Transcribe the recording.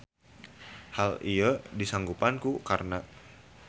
Hal ieu disanggupan ku Karna.